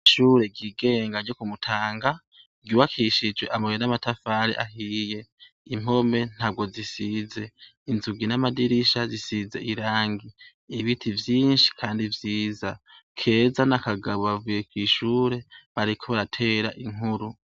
Ishure ryigenga ryo ku Mutanga, ryubakishije amabuye n'amatafari ahiye. Impome ntabwo zisize. Inzugi n'amadirisha zisize irangi. Ibiti vyinshi kandi vyiza. Keza na Kagabo bavuye kw'ishure, bariko baratera inkuru.